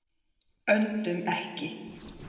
Öndum ekki.